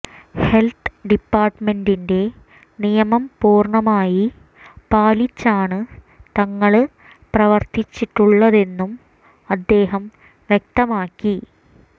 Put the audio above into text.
health ഡിപ്പാര്ട്ട്മെന്റിന്റെ നിയമം പൂര്ണമായി പാലിച്ചാണ് തങ്ങള് പ്രവര്ത്തിച്ചിട്ടുള്ളതെന്നും അദേഹം വ്യക്തമാക്കി